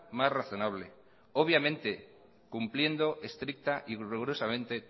más razonable obviamente cumpliendo estricta y rigurosamente